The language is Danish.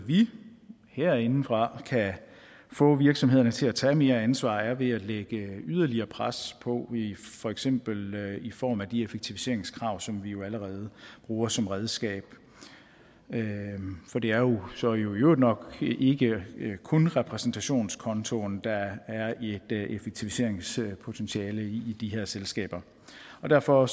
vi herindefra kan få virksomhederne til at tage mere ansvar på er ved at lægge yderligere pres på for eksempel i form af de effektiviseringskrav som vi jo allerede bruger som redskab for det er jo så i øvrigt nok ikke kun repræsentationskontoen der er et effektiviseringspotentiale i i de her selskaber derfor